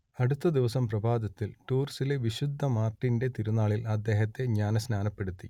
അടുത്ത ദിവസം പ്രഭാതത്തിൽ ടൂർസിലെ വിശുദ്ധ മാർട്ടിന്റെ തിരുനാളിൽ അദ്ദേഹത്തെ ജ്ഞാനസ്നാനപ്പെടുത്തി